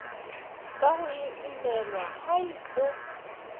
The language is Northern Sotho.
ka go imelwa hai go